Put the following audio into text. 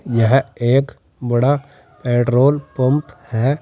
यह एक बड़ा पेट्रोल पंप है।